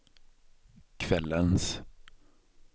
kvällens